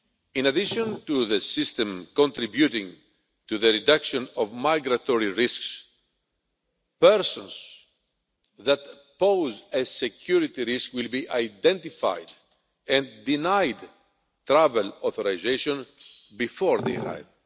In addition to the system contributing to the reduction of migratory risks, persons that pose a security risk will be identified and denied travel authorisation before they arrive.